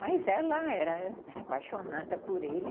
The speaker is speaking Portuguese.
Mas ela era apaixonada por ele.